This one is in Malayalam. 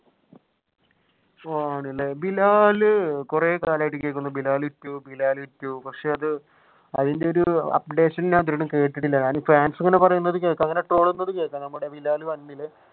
ആണല്ലേ ബിലാൽ കൊറേ കാലമായിട്ടു കേൾക്കുന്നു. ബിലാൽ two ബിലാൽ two പക്ഷെ അത് അതിന്റെ ഒരു updation ഞാൻ ഇതുവരെ കേട്ടിട്ടില്ല. ഞാനിപ്പോ ഫാൻസുകൾ പറയുന്നത് കേൾക്കാം ട്രോളുന്നത് കേൾക്കാം നമ്മുടെ ബിലാൽ one ഇലെ